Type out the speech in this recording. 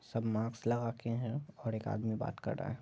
सब माक्स लगाके हैं और एक आदमी बात कर रहा है।